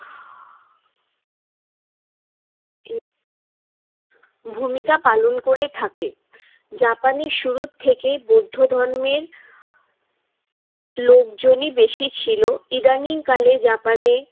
ভূমিকা পালন করে থাকে। জাপানে শুরুর থেকেই বৌদ্ধ ধর্মের লোকজনই বেশি ছিল। ইদানীংকালে জাপানে